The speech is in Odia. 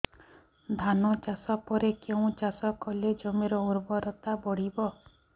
ଧାନ ଚାଷ ପରେ କେଉଁ ଚାଷ କଲେ ଜମିର ଉର୍ବରତା ବଢିବ